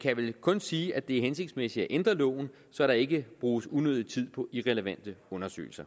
kan vel kun sige at det er hensigtsmæssigt at ændre loven så der ikke bruges unødig tid på irrelevante undersøgelser